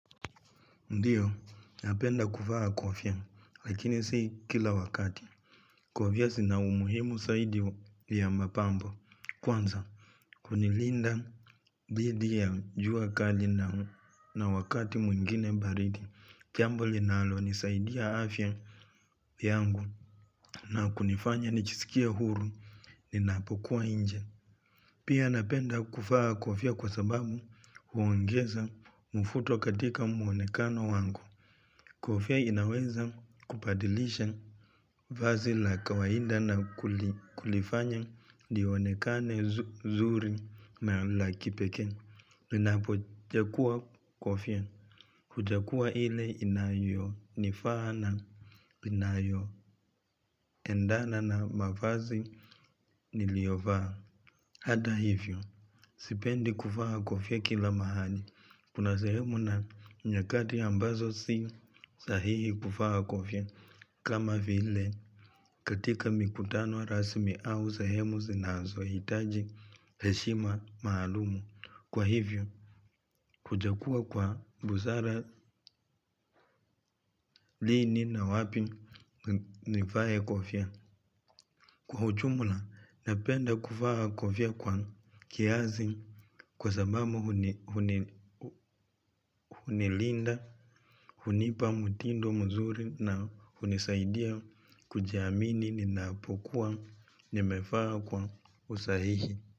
Ndiyo, napenda kuvaa kofia, lakini sii kila wakati. Kofia zina umuhimu zaidi ya mapambo. Kwanza, kunilinda didi ya jua kali na wakati mwingine baridi. Jambo linalo nisaidia afya yangu na kunifanya nijisikie huru ninapokuwa nje. Pia napenda kuvaa kofia kwa sababu huongeza mvuto katika muonekano wangu. Kofia inaweza kubadilisha vazi la kawaida na kulifanya lionekane nzuri au yakipekee. Ninapo chagua kofia, huchagua ile inayonifaa, inayo endana na mavazi niliyovaa. Hata hivyo, sipendi kuvaa kofia kila mahali. Kuna sehemu na nyakati ambazo si sahihi kuvaa kofia. Kama vile katika mikutano rasmi au sehemu zinazo hitaji heshima maalumu, wa hivyo, kuchagua kwa busara lini na wapi nivae kofia. Kwa jumla, napenda kuvaa kofia kwa kiasi kwa sababu hunilinda, hunipa mutindo mzuri na hunisaidia kujiamini ninapokuwa nimevaa kwa usahihi.